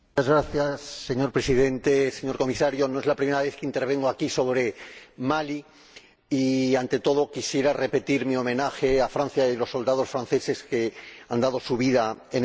Señor Presidente, señor Comisario, no es la primera vez que intervengo aquí sobre Mali y, ante todo, quisiera reiterar mi homenaje a Francia y a los soldados franceses que han dado su vida en esta guerra.